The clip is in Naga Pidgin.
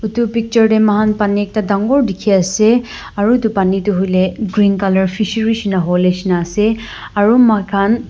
itu picture teh muihan paani ekta dangor dikhi ase aru itu paani tu huileh green colour fishery shina howoleh nishina ase aro moikhan--